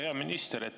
Hea minister!